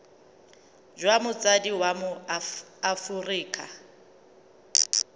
jwa motsadi wa mo aforika